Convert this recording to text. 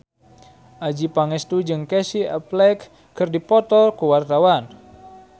Adjie Pangestu jeung Casey Affleck keur dipoto ku wartawan